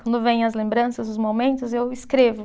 Quando vem as lembranças, os momentos, eu escrevo.